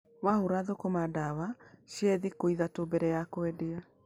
Wahũra thũkũma ndawa, cihe thĩkũ ĩthatũ mbere ya kwendia.